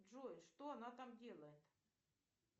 джой что она там делает